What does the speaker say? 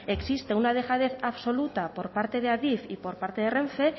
existe una dejadez absoluta por parte de adif y por parte de rene